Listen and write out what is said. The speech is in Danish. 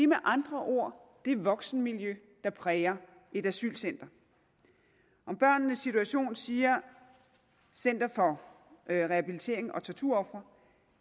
med andre ord det voksenmiljø der præger et asylcenter om børnenes situation siger rehabiliterings og torturofre